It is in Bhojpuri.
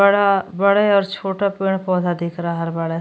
बड़ा बड़े और छोटे पड़े पौधे दिख रहला बाड़ें।